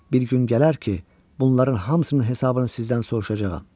Bir gün gələr ki, bunların hamısının hesabını sizdən soruşacağam.